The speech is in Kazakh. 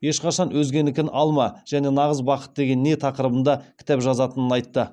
ешқашан өзгенікін алма және нағыз бақыт деген не тақырыбында кітап жазатынын айтты